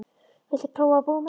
Viltu prófa að búa með mér.